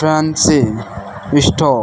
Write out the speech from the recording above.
Fancy store.